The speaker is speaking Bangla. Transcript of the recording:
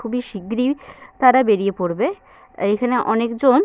খুবই শিগগিরই তারা বেরিয়ে পড়বে এখানে অনেকজন--